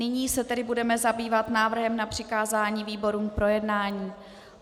Nyní se tedy budeme zabývat návrhem na přikázání výborům k projednání.